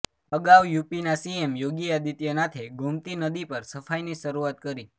અગાઉ યુપીના સીએમ યોગી આદિત્યનાથે ગોમતી નદી પર સફાઈની શરૂઆત કરી